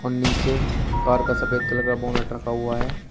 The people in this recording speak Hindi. नीचे कार का सफेद कलर का बोनेट रखा हुआ है।